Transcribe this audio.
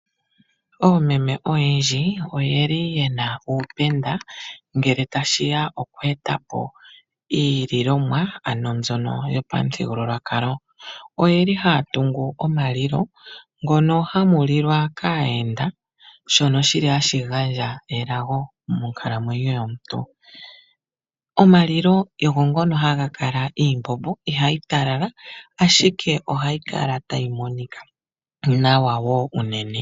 Oomeme oyendji oyeli yena uupenda ngele tashi ya okweeta po iililomwa ano mbyono yopamuthigululwakalo. Oyeli haya tungu omalilo ngono hamu lilwa kaayenda shono shili hashi gandja elago monkalamwenyo yomuntu. Omalilo ogo ngono haga kala iimbombo ihayi talala ashike ohayi kala tayi monika nawa wo unene.